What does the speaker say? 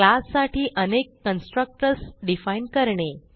क्लाससाठी अनेक constructors define करणे